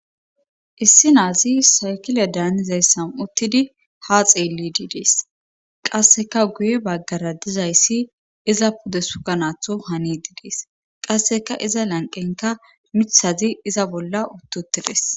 Issi naazi saykile daannizayssan uttidi ha xeelli diidees qasseka guye baggara dizayssi iza pude sukanaatho hani diidees qasseka iza lanqenka mithazi iza bolla uttutides.